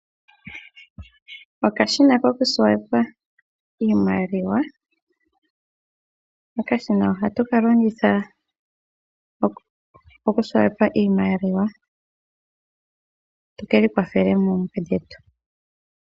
Okashina kokunana iimaliwa. Okashina ohatu ka longitha okunana iimaliwa tu ki ikwathele oompumbwe dhetu.